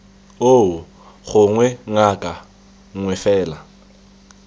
oo gongwe ngaka nngwe fela